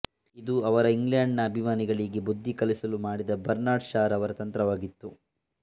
ಇದು ಅವರ ಇಂಗ್ಲೆಡ್ ನ ಅಭಿಮಾನಿಗಳಿಗೆ ಬುದ್ಧಿಕಲಿಸಲು ಮಾಡಿದ ಬರ್ನಾರ್ಡ್ ಶಾ ರವರ ತಂತ್ರವಾಗಿತ್ತು